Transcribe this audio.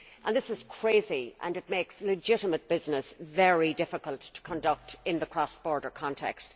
This is crazy and it makes legitimate business very difficult to conduct in a cross border context.